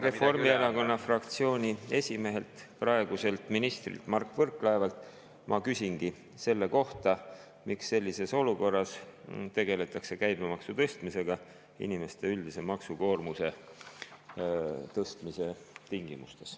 Reformierakonna fraktsiooni esimehelt, praeguselt ministrilt Mart Võrklaevalt ma küsingi selle kohta, miks sellises olukorras tegeletakse käibemaksu tõstmisega, inimeste üldise maksukoormuse tõstmise tingimustes.